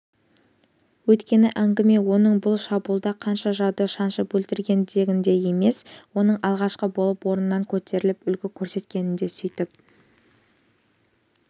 өйткені әңгіме оның бұл шабуылда қанша жауды шаншып өлтіргендігінде емес оның алғашқы болып орнынан көтеріліп үлгі көрсеткендігінде сөйтіп